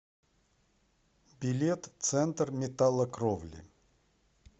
билет центр металлокровли